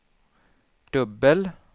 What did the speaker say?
dubbel